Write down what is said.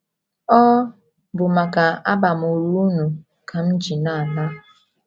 Ọ bụ maka abamuru unu ka m ji na - ala.